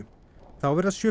þá verða sjö